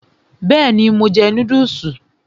Bẹ́ẹ̀ni, mo jẹ núdùsì